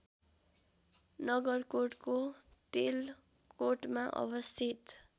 नगरकोटको तेलकोटमा अवस्थित